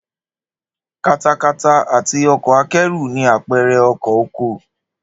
Katakata àti ọkọ̀ akẹ́rù ni àpẹrẹ ọkọ̀ oko